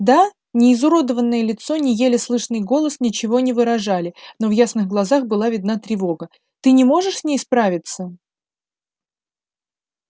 да ни изуродованное лицо ни еле слышный голос ничего не выражали но в ясных глазах была видна тревога ты не можешь с ней справиться